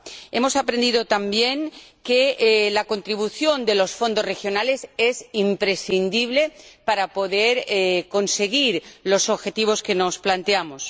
Hemos aprendido también que la contribución de los fondos regionales es imprescindible para poder conseguir los objetivos que nos planteamos.